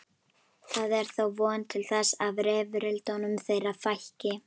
Það er þá von til þess að rifrildum þeirra fækki.